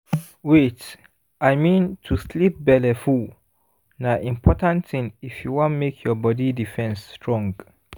wait i mean to sleep belleful na important thing if you wan make your body defense strong